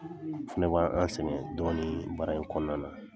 N fɛnɛ b' an a sɛgɛn dɔɔni baara in kɔnɔna na.